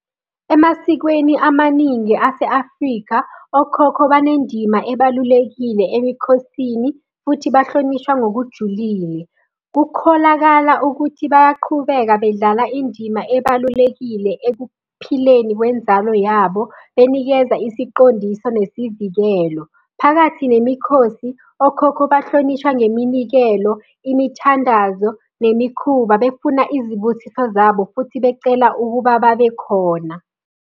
Emasikweni amaningi ase-Afrika, okhokho banendima ebalulekile emikhosini, futhi bahlonishwa ngokujulile. Kukholakala ukuthi bayaqhubeka bedlala indima ebalulekile ekuphileni kwenzalo yabo, benikeza isiqondiso nesivikelo. Phakathi nemikhosi, okhokho bahlonishwa ngeminikelo, imithandazo nemikhuba befuna izibusiso zabo futhi becela ukuba babe khona.